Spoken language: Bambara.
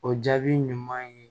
O jaabi ɲuman ye